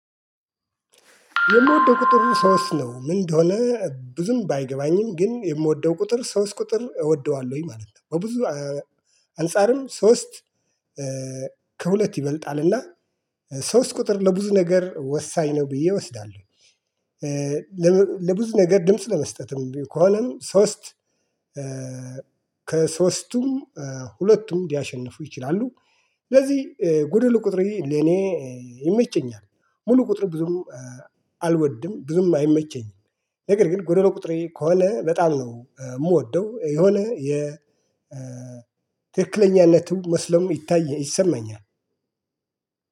የምወደው ቁጥር ሶስት ነው ምን እንደሆነ ብዙም ባይገባኝም ግን የምወደው ቁጥር ሶስት ቁጥር እወደዋለሁኝ ማለት ነው። በብዙ አንፃርም ሶስት ከሁለት ይበልጣልና ሶስት ቁጥር በብዙ ነገር ወሳኝ ነው ብዬ እወስዳለሁ። ለብዙ ነገር ድምጽ ለመስጠትም ከሆነ ሶስት ከሶስቱም ሁለቱም ሊያሸንፉ ይችላሉ። ስለዚህ ጉድል ቁጥር ለኔ ይመቸኛል። ሙሉ ቁጥር ብዙም አልወድም ብዙም አይመቸኝም። ነገር ግን ጎደሎ ቁጥሬ ከሆነ በጣም ነው የምወደው የሆነ የትክክለኛነቱ መስለሙ ይታይ ይሰማኛል።